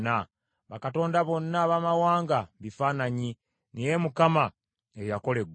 Bakatonda bonna abamawanga bifaananyi, naye Mukama ye yakola eggulu.